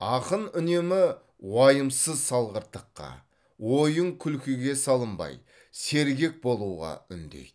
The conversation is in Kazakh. ақын үнемі уайымсыз салғырттыққа ойын күлкіге салынбай сергек болуға үндейді